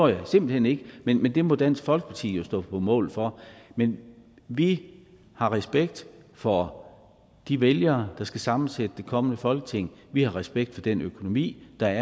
jeg simpelt hen ikke men men det må dansk folkeparti jo stå på mål for men vi har respekt for de vælgere der skal sammensætte det kommende folketing vi har respekt for den økonomi der